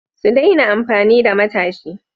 Sun daina amfani da matashi.